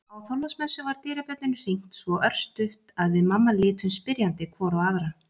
Á Þorláksmessu var dyrabjöllunni hringt svo örstutt að við mamma litum spyrjandi hvor á aðra.